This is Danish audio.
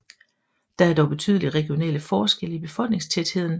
Der er dog betydelige regionale forskelle i befolkningstætheden